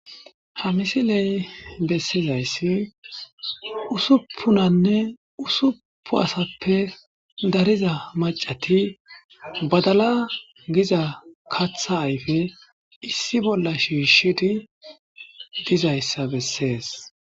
ha misiley bessizayssi usuppunanne usupu asappe dariza macati badala giza katha ayfe issi bolla shiishidi dizayssa bessees